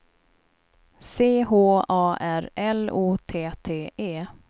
C H A R L O T T E